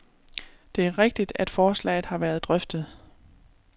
Det er rigtigt, at forslaget har været drøftet.